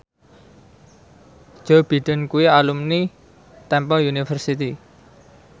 Joe Biden kuwi alumni Temple University